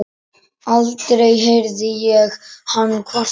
Aldrei heyrði ég hann kvarta.